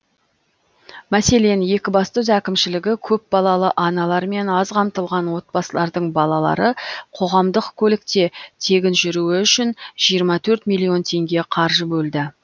мәселен екібастұз әкімшілігі көпбалалы аналар мен аз қамтылған отбасылардың балалары қоғамдық көлікте тегін жүруі үшін жиырма төрт миллион теңге қаржы бөлді